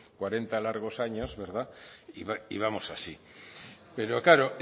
cuarenta largos años verdad y vamos así pero claro